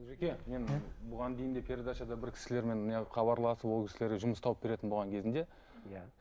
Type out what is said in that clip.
олжеке мен бұған дейін де передачада бір кісілермен міне хабарласып ол кісілерге жұмыс тауып беретін болған кезінде иә